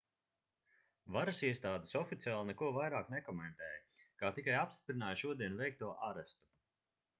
varasiestādes oficiāli neko vairāk nekomentēja kā tikai apstiprināja šodien veikto arestu